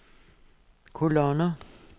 kolonner